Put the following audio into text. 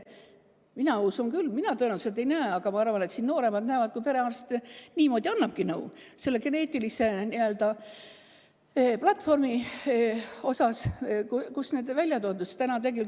Mina tõenäoliselt ei näe, aga ma arvan, et nooremad näevad seda, kuidas perearst annabki nõu selle geneetilise n‑ö platvormi põhjal, kus need asjad on välja toodud.